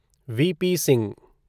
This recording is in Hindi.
व.प. सिंह